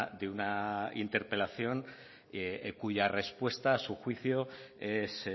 de una interpelación cuya respuesta a su juicio es